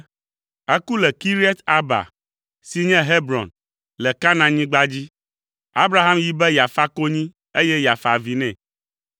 Eku le Kiriat Arba (si nye Hebron) le Kanaanyigba dzi. Abraham yi be yeafa konyi, eye yeafa avi nɛ.